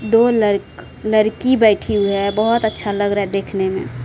दो लड़ लड़की बैठी है बहुत अच्छा लग रहा है देखने में।